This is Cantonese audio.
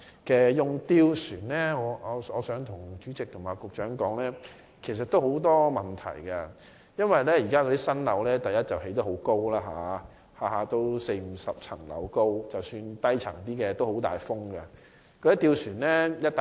就使用吊船方面，我想告訴主席和局長，其實會有很多問題，因為第一，現在新建樓宇很高，一般有四五十層樓，即使低層風亦很大。